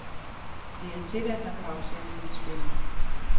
Det er tilladt, når karrusellen spinder.